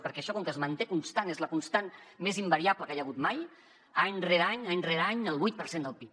perquè això com que es manté constant és la constant més invariable que hi ha hagut mai any rere any any rere any el vuit per cent del pib